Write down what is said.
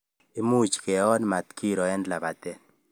Imuch keon matkiro eng lapatet